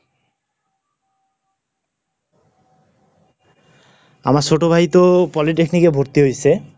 আমার ছোট ভাই তো Polytechnic এ ভর্তি হইসে।